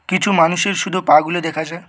কিছু মানুষের শুধু পা গুলো দেখা যায়।